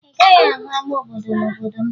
Ị gaghị ahụ ama obodo n'obodo m